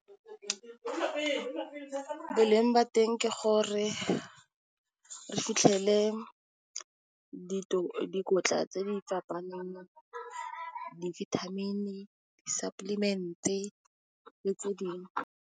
Boleng ba teng ke gore, re fitlhele dikotla tse di , dibithamini, di suppliment-e le tse dingwe.